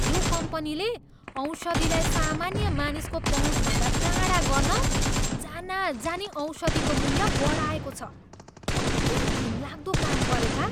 यो कम्पनीले औषधिलाई सामान्य मानिसको पहुँचभन्दा टाढा गर्न जानाजानी औषधिको मूल्य बढाएको छ। कति घिनलाग्दो काम गरेका!